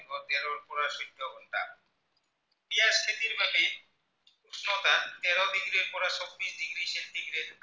খেতিৰ বালি উষ্ণতা তেৰ degree ৰ পৰা চৌব্বিছ degree centigrade